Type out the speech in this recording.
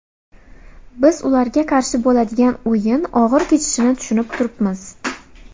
Biz ularga qarshi bo‘ladigan o‘yin og‘ir kechishini tushunib turibmiz.